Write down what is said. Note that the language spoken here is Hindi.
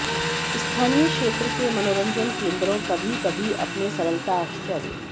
स्थानीय क्षेत्र के मनोरंजन केन्द्रों कभी कभी अपने सरलता आश्चर्य